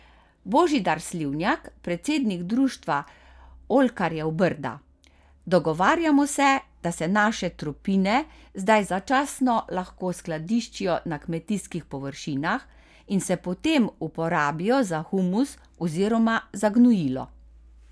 Božidar Slivnjak, predsednik Društva oljkarjev Brda: 'Dogovarjamo se, da se naše tropine zdaj začasno lahko skladiščijo na kmetijskih površinah in se potem uporabijo za humus oziroma za gnojilo.